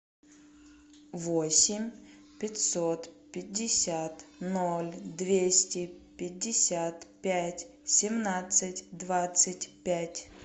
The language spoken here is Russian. восемь пятьсот пятьдесят ноль двести пятьдесят пять семнадцать двадцать пять